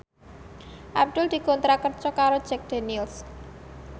Abdul dikontrak kerja karo Jack Daniels